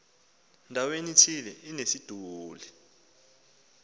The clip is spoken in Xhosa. ndaweni ithile inesiduli